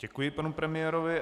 Děkuji panu premiérovi.